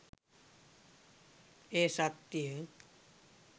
එය සත්‍ය